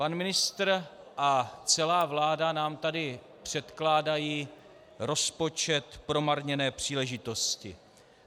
Pan ministr a celá vláda nám tady předkládají rozpočet promarněné příležitosti.